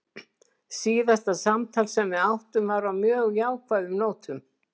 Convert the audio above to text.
Síðasta samtal sem við áttum var á mjög jákvæðum nótum.